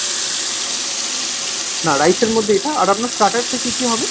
না rice এর মধ্যে এটা। আর আপনার starters এ কী কী হবে ?